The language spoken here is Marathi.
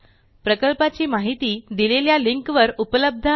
प्रकल्पाची माहिती दिलेल्या लिंकवर उपलब्ध आहे